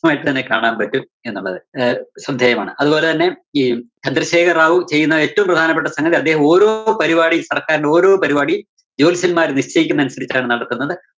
ജയമായിട്ട് തന്നെ കാണാന്‍ പറ്റും എന്നുള്ളത് ആഹ് ശ്രദ്ധേയമാണ്. അതുപോലെ തന്നെ ഈ ചന്ദ്രശേഖര്‍ റാവു ചെയ്യുന്ന ഏറ്റവും പ്രധാനപ്പെട്ട സംഗതി അദ്ദേഹം ഓരോ പരിപാടീം സര്‍ക്കാരിന്റെ ഓരോ പരിപാടിം ജോത്സ്യന്മാര് നിശ്ചയിക്കുന്നതനുസരിച്ചാണ് നടത്തുന്നത്.